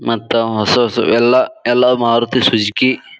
ಮತ್ತ ಹೊಸ ಹೊಸ ಎಲ್ಲ ಯಲ್ಲಾ ಮಾರುತಿ ಸುಜುಕಿ --